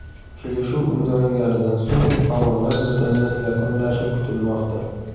Kelishuv imzolanganidan so‘ng tomonlar bitimni yakunlashi kutilmoqda.